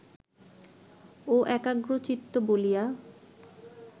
ও একাগ্রচিত্ত বলিয়া